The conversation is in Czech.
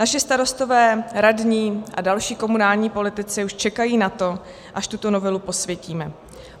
Naši starostové, radní a další komunální politici už čekají na to, až tuto novelu posvětíme.